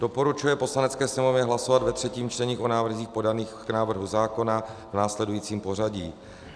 Doporučuje Poslanecké sněmovně hlasovat ve třetím čtení o návrzích podaných k návrhu zákona v následujícím pořadí: